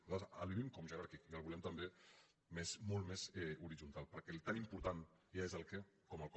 nosaltres el vivim com a jeràrquic i el volem també molt més horitzontal perquè tan important és el què com el com